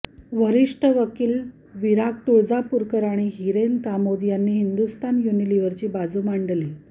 वरिष्ठ वकील विराग तुळजापूरकर आणि हिरेन कामोद यांनी हिंदुस्तान युनिलिव्हरची बाजू मांडली